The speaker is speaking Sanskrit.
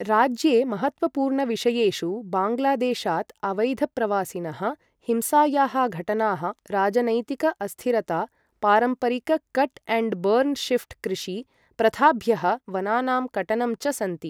राज्ये महत्त्वपूर्णविषयेषु बाङ्गलादेशात् अवैधप्रवासिनः, हिंसायाः घटनाः, राजनैतिक अस्थिरता, पारम्परिक कट एण्ड बर्न् शिफ्ट कृषि प्रथाभ्यः वनानां कटनं च सन्ति